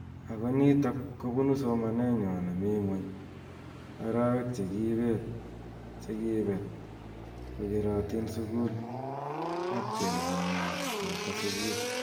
Ako nitok ko bunu somanet nywaa nemi ngwuny ,arawek che kibet che kibet kokeratin sukul ak tiemet nywa komete sukul.